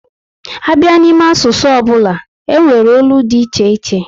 A bịa n'ime asụsụ ọbụla, e nwere olu dị iche iche